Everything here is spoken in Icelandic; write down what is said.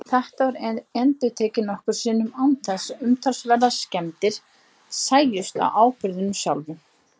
Þetta var endurtekið nokkrum sinnum án þess að umtalsverðar skemmdir sæjust á áburðinum sjálfum.